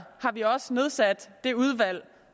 vi også nedsat det udvalg